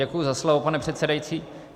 Děkuji za slovo, pane předsedající.